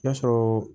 Y'a sɔrɔ